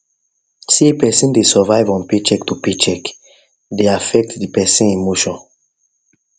say person dey survive on paycheck to paycheck dey affect the person emotions